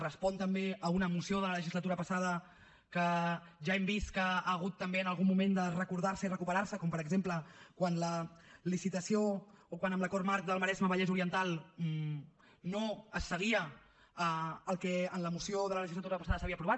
respon també a una moció de la legislatura passada que ja hem vist que ha hagut també en algun moment de recordar se i recuperar se com per exemple quan en la licitació o quan en l’acord marc del maresme vallès oriental no es seguia el que en la moció de la legislatura passada s’havia aprovat